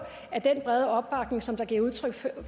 at den brede opbakning som der givet udtryk